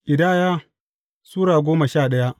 Ƙidaya Sura goma sha daya